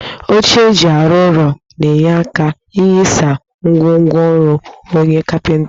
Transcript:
Oche eji arụ ọrụ na-enye aka inyisa ngwongwo ọrụ onye kapịnta